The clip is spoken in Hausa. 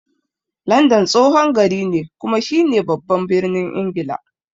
London tsohon gari ne kuma shi ne baban birnin Ingila.